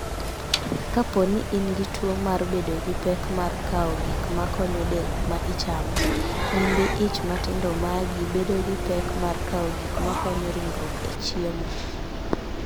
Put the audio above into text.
Kapo ni in gi tuwo mar bedo gi pek mar kawo gik ma konyo del ma ichamo, Nyimbi ich matindo magi bedo gi pek mar kawo gik ma konyo ringruok e chiemo .